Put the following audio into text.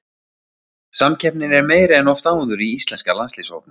Samkeppnin er meiri en oft áður í íslenska landsliðshópnum.